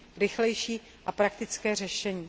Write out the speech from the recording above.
rychlejší a praktické řešení.